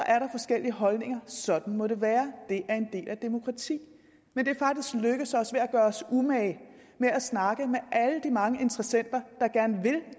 er der forskellige holdninger sådan må det være det er en del af demokratiet men det er faktisk lykkedes os ved at gøre os umage med at snakke med alle de mange interessenter